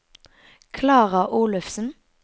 Klara Olufsen